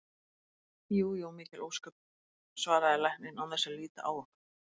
Jú jú, mikil ósköp, svaraði læknirinn án þess að líta á okkur.